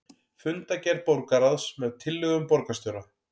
Fundargerð borgarráðs með tillögum borgarstjóra